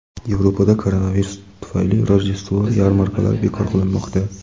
Yevropada koronavirus tufayli Rojdestvo yarmarkalari bekor qilinmoqda.